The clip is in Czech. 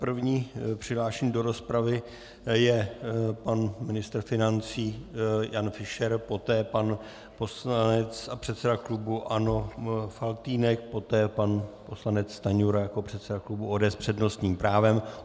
První přihlášený do rozpravy je pan ministr financí Jan Fischer, poté pan poslanec a předseda klubu ANO Faltýnek, poté pan poslanec Stanjura jako předseda klubu ODS s přednostním právem.